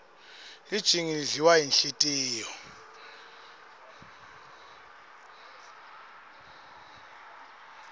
lijingi lidliwa yinhlitiyo